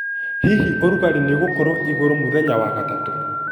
Hihi ũrugarĩ nĩ gukurwo iguru muno mũthenya wa gatatũ